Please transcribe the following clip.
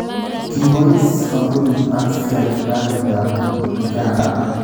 Kibois koombunit ak seikalita Uganda